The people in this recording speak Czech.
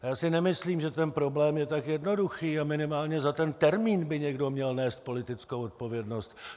Já si nemyslím, že ten problém je tak jednoduchý, a minimálně za ten termín by někdo měl nést politickou odpovědnost.